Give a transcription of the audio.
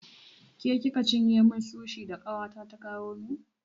Ke kika cinye min sushi da ƙawata ta kawo min?